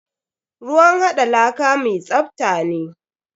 Ruwn haɗa laka mi tsafta ne.